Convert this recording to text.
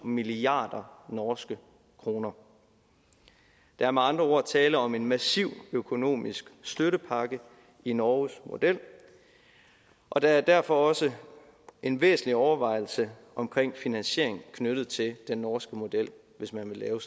milliard norske kroner der er med andre ord tale om en massiv økonomisk støttepakke i norges model og der er derfor også en væsentlig overvejelse omkring finansiering knyttet til den norske model hvis man vil lave